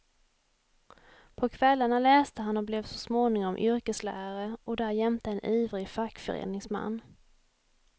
På kvällarna läste han och blev så småningom yrkeslärare och därjämte en ivrig fackföreningsman.